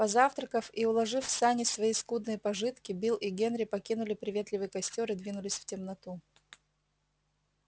позавтракав и уложив в сани свои скудные пожитки билл и генри покинули приветливый костёр и двинулись в темноту